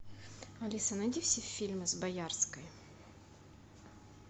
алиса найди все фильмы с боярской